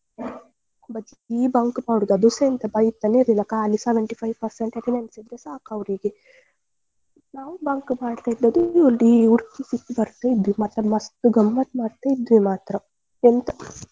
ಬರೀ bunk ಮಾಡುದು ಅದೂಸ ಬೈತಾನೇ ಇರ್ಲಿಲ್ಲ ಖಾಲಿ seventy-five percent attendance ಇದ್ರೆ ಸಾಕು ಅವ್ರಿಗೆ ನಾವು bunk ಮಾಡ್ತ ಇದ್ದದ್ದು ಇಡೀ ಊರು ಸುತ್ತಿ ಬರ್ತಿದ್ವಿ ಮತ್ತೆ ಮಸ್ತ್ ಗಮ್ಮತ್ ಮಾಡ್ತಾ ಇದ್ವಿ ಮಾತ್ರ ಎಂತ.